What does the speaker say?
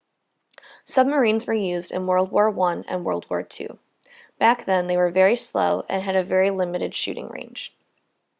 submarines were used in world war i and world war ii back then they were very slow and had a very limited shooting range